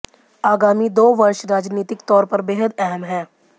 आगामी दो वर्ष राजनीतिक तौर पर बेहद अहम हैं